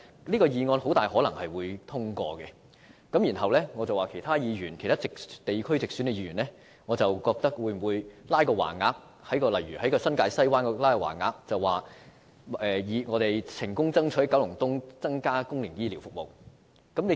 這項議案很可能會通過，那麼，其他地區如新界西的直選議員會否在該區掛起橫額，表示他們成功爭取增加九龍東的公營醫療服務呢？